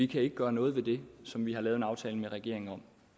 kan gøre noget ved det som vi har lavet en aftale med regeringen om